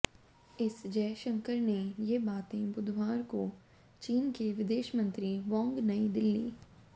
S Jaishankar ने ये बातें बुधवार को चीन के विदेश मंत्री वांग नई दिल्ली